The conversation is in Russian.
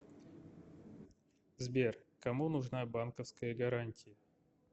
сбер кому нужна банковская гарантия